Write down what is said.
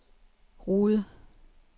Rude